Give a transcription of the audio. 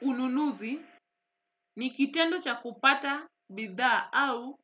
Ununuzi ni kitendo cha kupata bidhaa au